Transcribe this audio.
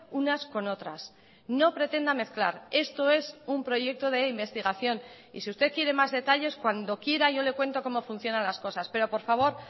unas con otras no pretenda mezclar esto es un proyecto de investigación y si usted quiere más detalles cuando quiera yo le cuento cómo funcionan las cosas pero por favor